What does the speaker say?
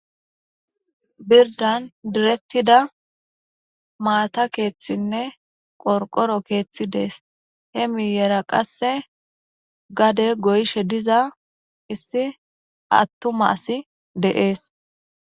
Birdan diretida maata keethi ne qorqoro keethi dees. He miiyera qasse gade goyishe diza issi atuma asi dees.